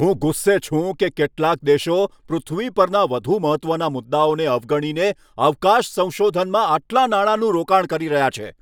હું ગુસ્સે છું કે કેટલાક દેશો પૃથ્વી પરના વધુ મહત્ત્વના મુદ્દાઓને અવગણીને અવકાશ સંશોધનમાં આટલા નાણાંનું રોકાણ કરી રહ્યા છે.